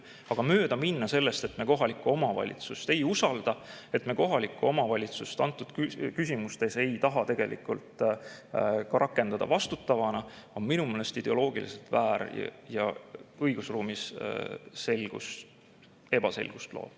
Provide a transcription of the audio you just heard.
Aga mööda minna sellest, et me kohalikku omavalitsust ei usalda, et me kohalikku omavalitsust antud küsimustes ei taha tegelikult vastutavana rakendada, on minu meelest ideoloogiliselt väär ja õigusruumis ebaselgust loov.